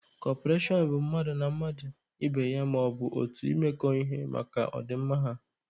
Kọperashọn bụ mmadụ na mmadụ ibe ya, maọbụ otu imekọ ihe maka ọ dị mma ha.